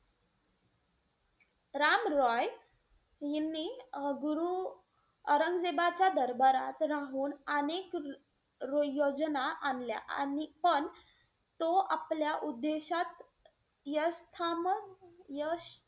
राम रॉय यांनी अं गुरु औरंगजेबाच्या दरबारात अनेक राहून र~ योजना आणल्या. आणि पण तो आपल्या उद्धेशात यश~ यश,